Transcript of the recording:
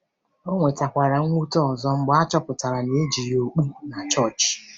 Ọ nwetakwara mwute ọzọ mgbe a chọpụtara na e ji ya okpu na chọọchị.